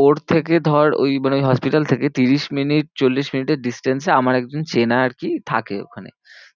ওর থেকে ধর ওই মানে hospital থেকে ত্রিশ minutes চল্লিশ minutes এর distance এ আমার একজন চেনা আর কি থাকে ওখানে।